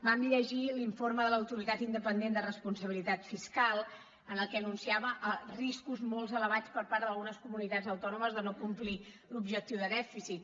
vam llegir l’informe de l’autoritat independent de responsabilitat fiscal en el qual anunciava riscos molt elevats per part d’algunes comunitats autònomes de no complir l’objectiu de dèficit